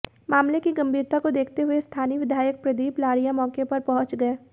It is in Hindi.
मामले की गंभीरता को देखते हुए स्थानीय विधायक प्रदीप लारिया मौके पर पहुंच गये